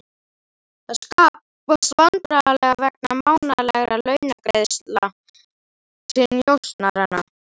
Það skapast vandræði vegna mánaðarlegra launagreiðslna til njósnaranna.